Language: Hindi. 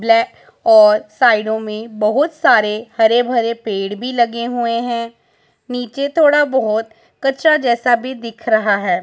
ब्लैक और साइडोमें बहुत सारे हरे भरे पेड़ भी लगे हुएं हैं नीचे थोड़ा बहोत कच्चा जैसा भी दिख रहा है।